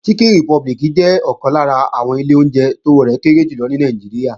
Chicken Republic jẹ́ ọ̀kan lára àwọn ilé oúnjẹ tówó rẹ̀ kéré jù lọ ní Nàìjíríà